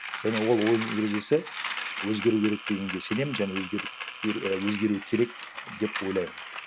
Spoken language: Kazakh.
және ол ойын ережесі өзгеру керек дегенге сенемін және өзгеру ііі өзгеру керек деп ойлаймын